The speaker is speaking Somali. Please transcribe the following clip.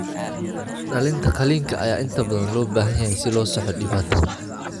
Dhallinta qaliinka ayaa inta badan loo baahan yahay si loo saxo dhibaatada.